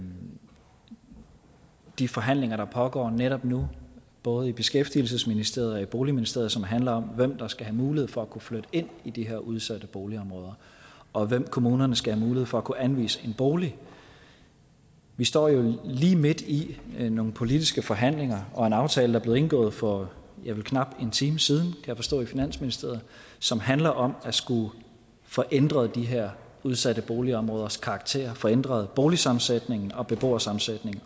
de forhandlinger der pågår netop nu både i beskæftigelsesministeriet og i boligministeriet som handler om hvem der skal have mulighed for at kunne flytte ind i de her udsatte boligområder og hvem kommunerne skal have mulighed for at kunne anvise en bolig vi står jo lige midt i nogle politiske forhandlinger og en aftale der blev indgået for ja vel knap en time siden kan jeg forstå i finansministeriet som handler om at få ændret de her udsatte boligområders karakter få ændret boligsammensætningen og beboersammensætningen